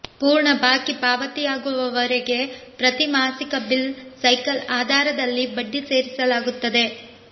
ಪೂರ್ಣ ಬಾಕಿ ಪಾವತಿಯಾಗುವವರೆಗೆ ಪ್ರತಿ ಮಾಸಿಕ ಬಿಲ್ ಸೈಕಲ್ ಆಧಾರದಲ್ಲಿ ಬಡ್ಡಿ ಸೇರಿಸಲಾಗುತ್ತದೆ